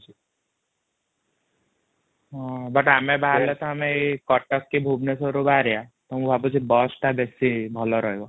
ହଁ but ଆମେ ବାହାରିଲେ ତ ଆମେ ଏଇ କଟକ କି ଭୁବନେଶ୍ବରରୁ ବାହାରିଆ ତ ମୁଁ ଭାବୁଛି ବସ ଟା ବେଶୀ ଭଲ ରହିବ ।